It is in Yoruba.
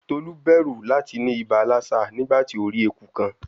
Tolu bẹru lati ni iba Lassa nigbati o ri eku kan